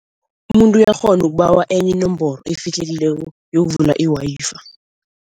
Umuntu uyakghona ukubawa enye inomboro efihlekileko yokuvula i-Wi-Fi.